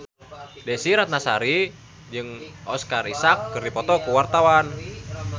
Desy Ratnasari jeung Oscar Isaac keur dipoto ku wartawan